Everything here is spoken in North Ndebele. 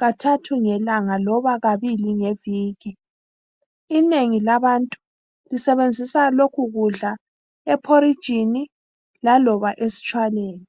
kathathu ngelanga loba kabili ngeviki. Inengi labantu lisebenzisa lokhu kudla ephorijini loba esitshwaleni.